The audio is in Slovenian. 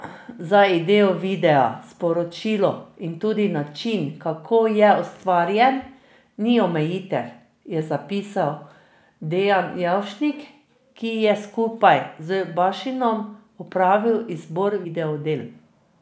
Za idejo videa, sporočilo in tudi način, kako je ustvarjen, ni omejitev, je zapisal Dejan Jevšnik, ki je skupaj z Bašinom opravil izbor video del.